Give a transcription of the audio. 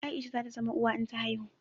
Aisha za ta zama uwa in ta haihu